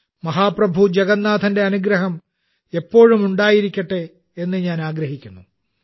മഹാപ്രഭു ജഗന്നാഥന്റെ അനുഗ്രഹം എല്ലാ രാജ്യക്കാർക്കും എപ്പോഴും ഉണ്ടായിരിക്കട്ടെ എന്ന് ഞാൻ ആഗ്രഹിക്കുന്നു